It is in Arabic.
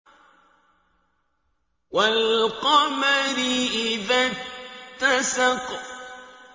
وَالْقَمَرِ إِذَا اتَّسَقَ